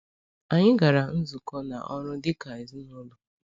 Anyị gara nzukọ na ọrụ dịka ezinụlọ.